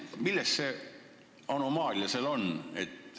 Millest see anomaalia seal on tekkinud?